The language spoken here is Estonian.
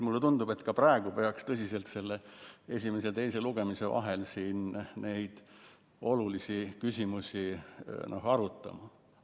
Mulle tundub, et ka praegu peaks tõsiselt esimese ja teise lugemise vahel neid olulisi küsimusi arutama.